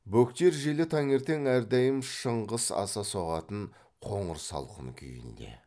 бөктер желі таңертең әрдайым шыңғыс аса соғатын қоңыр салқын күйінде